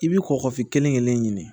I bi kɔkɔfin kelen-kelen ɲini